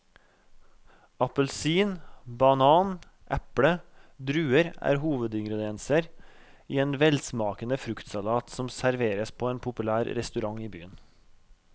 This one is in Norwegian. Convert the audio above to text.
Appelsin, banan, eple og druer er hovedingredienser i en velsmakende fruktsalat som serveres på en populær restaurant i byen.